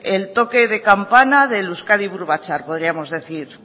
el toque de campaña del euskadi buru batzar podríamos decir